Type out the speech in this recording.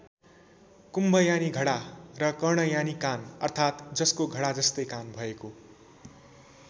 कुम्भ यानि घडा र कर्ण यानि कान अर्थात जसको घडा जस्तै कान भएको।